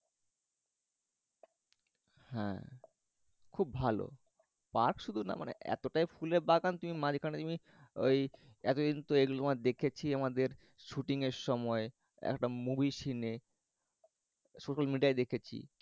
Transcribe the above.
হ্যাঁ খুব ভালো। পার্ক শুধু না মানে এতটাই ফুলের বাগান তুমি মাঝখানে ঐ এতদিন তো এগুলো তোমার দেখেছি আমাদের শুটিঙের সময় একটা movie scene এ শুধু এটাই দেখেছি